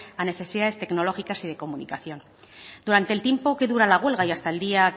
a necesidades tecnológicas y de comunicación durante el tiempo que dura la huelga y hasta el día